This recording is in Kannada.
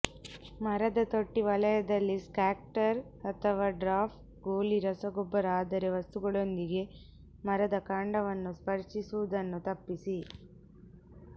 ಮರದ ತೊಟ್ಟಿ ವಲಯದಲ್ಲಿ ಸ್ಕ್ಯಾಟರ್ ಅಥವಾ ಡ್ರಾಪ್ ಗೋಲಿ ರಸಗೊಬ್ಬರ ಆದರೆ ವಸ್ತುಗಳೊಂದಿಗೆ ಮರದ ಕಾಂಡವನ್ನು ಸ್ಪರ್ಶಿಸುವುದನ್ನು ತಪ್ಪಿಸಿ